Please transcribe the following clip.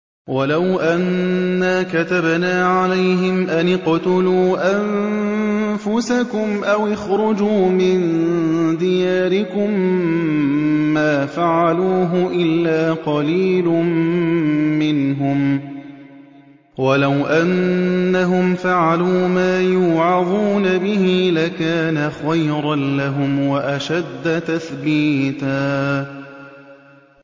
وَلَوْ أَنَّا كَتَبْنَا عَلَيْهِمْ أَنِ اقْتُلُوا أَنفُسَكُمْ أَوِ اخْرُجُوا مِن دِيَارِكُم مَّا فَعَلُوهُ إِلَّا قَلِيلٌ مِّنْهُمْ ۖ وَلَوْ أَنَّهُمْ فَعَلُوا مَا يُوعَظُونَ بِهِ لَكَانَ خَيْرًا لَّهُمْ وَأَشَدَّ تَثْبِيتًا